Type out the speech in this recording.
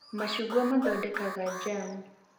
Macungwa nĩ mathondekaga njamu